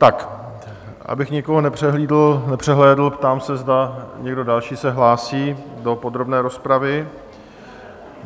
Tak abych nikoho nepřehlédl, ptám se, zda někdo další se hlásí do podrobné rozpravy?